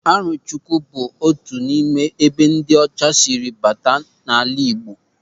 Arọchukwu bụ otu n'ime ebe ndị ọcha siri bata n'ala Igbo.